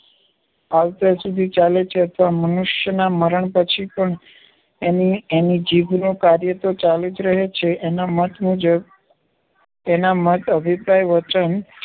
આવતા સુધી ચાલે છે અથવા મનુષ્યના મરણ પછી પણ એની~એની જીભનું કાર્ય તો ચાલુ જ રહે છે. એના મત મુજબ એના મત અભિપ્રાય, વચન